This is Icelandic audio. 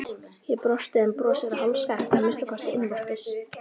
Ég brosti, en brosið varð hálfskakkt, að minnsta kosti innvortis.